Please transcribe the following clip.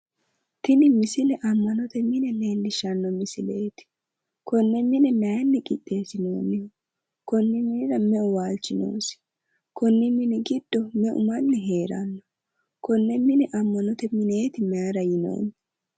Tini misile ammanote mine leellishshanno misileeti. Konne mine mayinni qixxeessinoonniho? Konni minira meu waalchi noosi? Konni minira giddo meu manni heeranno? Konne mine ammanote mineeti mayira yinoonni?